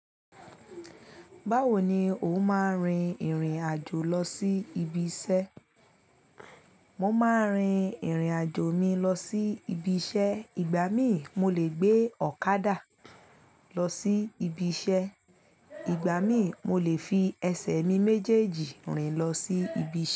Báwo ni o máa ń rin ìrìn àjò lọ sí ibi iṣẹ́? Mo máa ń rin ìrìn àjò mi lọ sí ibi iṣẹ́. Ìgbà mí mo lè gbé ọ̀kadà lọ sí ibi iṣẹ́, ìgbà mí mo lè fi ẹsẹ̀ mi méjèèjì rìn lọ sí ibi iṣẹ́.